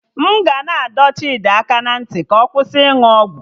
M ga na-adọ Chidi aka ná ntị ka ọ kwụsị ịnụ ọgwụ